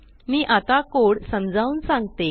मी आता कोड समजावून सांगते